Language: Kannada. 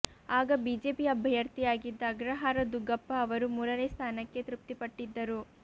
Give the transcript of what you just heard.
ಆಗ ಬಿಜೆಪಿ ಅಭ್ಯರ್ಥಿಯಾಗಿದ್ದ ಅಗ್ರಹಾರ ದುಗ್ಗಪ್ಪ ಅವರು ಮೂರನೇ ಸ್ಥಾನಕ್ಕೆ ತೃಪ್ತಿಪಟ್ಟಿದ್ದರು